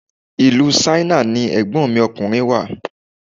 Ìlú Ṣáínà ni Ẹ̀gbọ́n mi ọkùnrin wà.